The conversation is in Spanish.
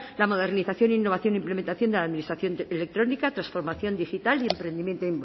la modernización e innovación e implementación de la administración electrónica transformación digital y emprendimiento